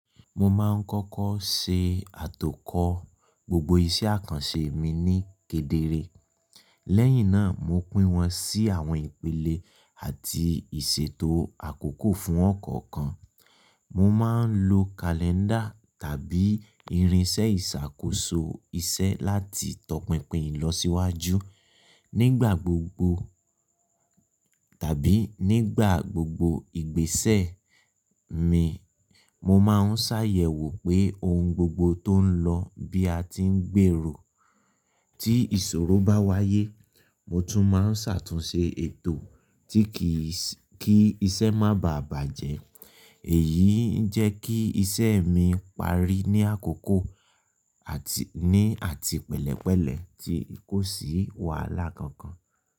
Mo máa ń kọ́kọ́ ṣe àtòkọ̀ gbogbo iṣẹ́ àkànṣe mi ní kedere. Lẹ́yìn náà, mo pín wọn sí àwọn ìpele àti ìṣètò àkókò fún ọ̀kọ̀ọ̀kan. Mo máa ń lo kalẹ́ńdà tàbí irinṣẹ́ ìṣàkóso iṣẹ́ láti tọpinpin ìlọsíwájú. Nígbà gbogbo tàbí nígbà gbogbo ìgbésẹ̀ mi, mo máa ń ṣàyẹ̀wò pé ohun gbogbo tó ń lọ bí a ti ń gbèrò. Tí ìṣòro bá wáyé, mo tún máa ń ṣàtúnṣe ètò tí kì í ṣe kí iṣẹ́ má bàjẹ́. Èyí ń jẹ́ kí iṣẹ́ mi parí ní àkókò àti ní àti pẹ̀lẹ́pẹ̀lẹ́ tí kò sí wàhálà kankan.